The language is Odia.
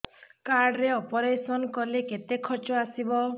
କାର୍ଡ ରେ ଅପେରସନ କଲେ କେତେ ଖର୍ଚ ଆସିବ